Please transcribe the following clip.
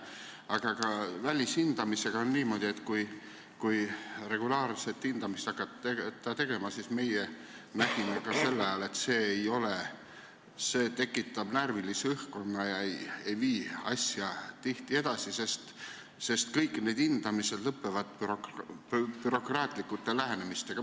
Aga ka välishindamisega on niimoodi, et meie nägime sel ajal, et kui regulaarset hindamist hakata tegema, siis see tekitab närvilise õhkkonna ega vii tihti asja edasi, sest kõik need hindamised lõppevad bürokraatliku lähenemisega.